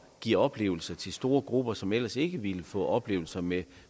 give oplevelser til store grupper som ellers ikke ville få oplevelser med